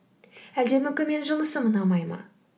әлде мүмкін менің жұмысым ұнамай ма